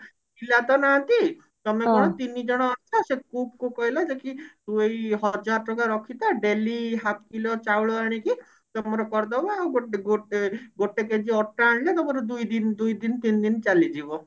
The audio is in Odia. ପିଲା ତ ନାହାନ୍ତି ତମେ ତିନିଜଣ ଅଛ ସେ cook କୁ କହିଲା ଜେକି ଏଇ ହଜାରେ ଟଙ୍କା ରଖିଥା daily half କିଲୋ ଚାଉଳ ଆଣିକି ତମର କରିଦେବ ଆଉ ଗୋଟେ ଗୋଟେ ଗୋଟେ KG ଅଟା ଆଣିଲେ ତମର ଦୁଇ ଦିନ ଦୁଇଦିନ ତିନିଦିନ ଚାଲିଯିବ